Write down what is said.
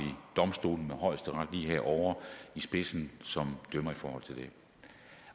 domstolene med højesteret lige herovre i spidsen som dømmer i forhold til det